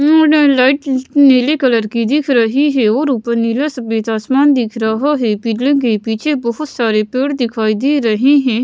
Light नीले colour की दिख रही है और ऊपर नीला सफेद आसमान दिख रहा है पिल के पीछे बहुत सारे पेड़ दिखाई दे रहे हैं।